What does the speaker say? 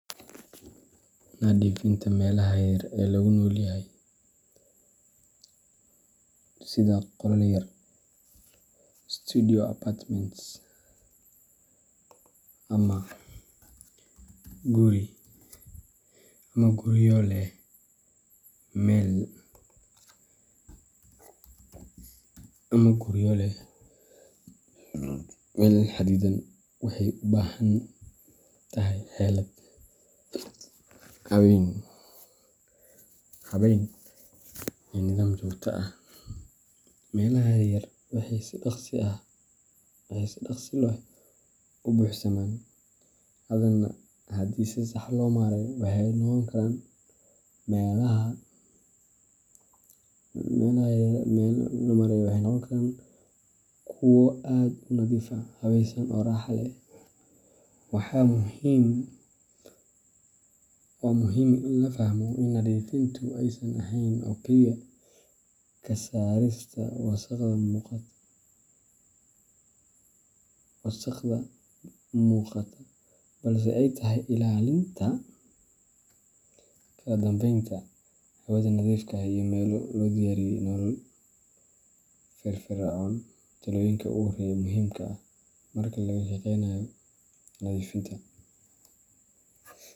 Nadiifinta meelaha yaryar ee lagu nool yahay sida qolal yar, studio apartments, ama guryo leh meel xadidan waxay u baahan tahay xeelad, habeyn, iyo nidaam joogto ah. Meelaha yaryar waxay si dhakhso leh u buuxsamaan, haddana haddii si sax ah loo maareeyo, waxay noqon karaan kuwo aad u nadiif ah, habaysan oo raaxo leh. Waa muhiim in la fahmo in nadiifintu aysan ahayn oo kaliya ka saarista wasakhda muuqata, balse ay tahay ilaalinta kala dambeynta, hawada nadiifka ah, iyo meel loo diyaariyay nolol firfircoon. Talooyinka ugu horreeya ee muhiimka ah marka laga shaqeynayo nadiifinta.